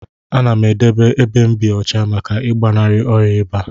Anam edebe ebe mu bi ọcha maka igbanari ọya iba.